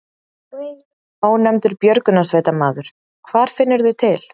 Ónefndur björgunarsveitarmaður: Hvar finnurðu til?